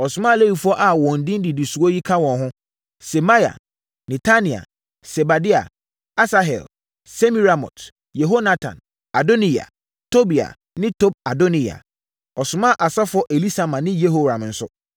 Ɔsomaa Lewifoɔ a wɔn din didi soɔ yi kaa wɔn ho: Semaia, Netania, Sebadia, Asahel, Semiramot, Yehonatan, Adoniya, Tobia ne Tob-Adoniya. Ɔsomaa asɔfoɔ Elisama ne Yehoram nso.